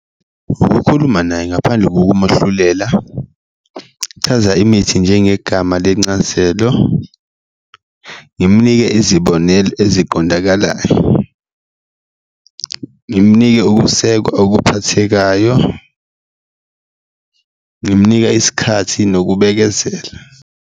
Ukukhuluma naye ngaphandle kokumahlulela, kuchaza imithi njengegama lencazelo, ngimnike izibonelo eziqondakalayo, ngimnike ukusekwa okuphathekayo, ngimnika isikhathi nokubekezela.